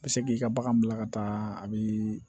Bɛ se k'i ka bagan bila ka taa a bi